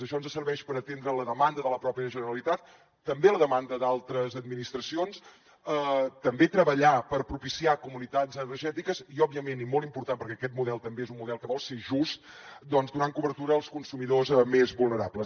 això ens serveix per atendre la demanda de la pròpia generalitat també la demanda d’altres administracions també treballar per propiciar comunitats energètiques i òbviament i molt important perquè aquest model també és un model que vol ser just doncs donant cobertura als consumidors més vulnerables